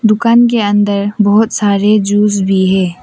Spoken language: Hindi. दुकान के अंदर बहुत सारे जूस भी है।